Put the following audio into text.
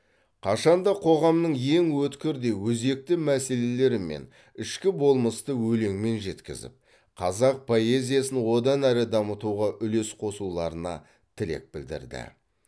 қашан да қоғамның ең өткір де өзекті мәселелері мен ішкі болмысты өлеңмен жеткізіп қазақ поэзиясын одан әрі дамытуға үлес қосуларына тілек білдірді